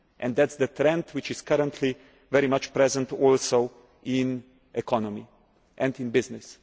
That is the trend which is currently very much present in the economy and in business.